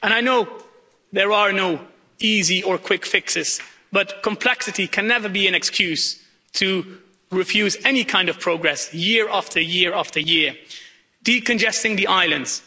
And I know there are no easy or quick fixes, but complexity can never be an excuse to refuse any kind of progress year after year after year. Decongesting the islands